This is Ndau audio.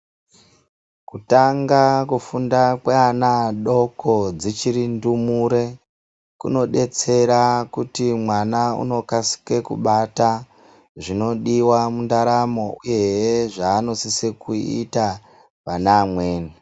Kutanga kufunda kweana adoko dzichiri ndumure kunodetsera kuti mwana unokasike kubata zvinodiwa mundaramo uyehe zvanosisa kuita pane amweni.